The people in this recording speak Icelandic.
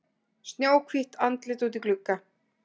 Snjóhvítt andlit úti í glugga.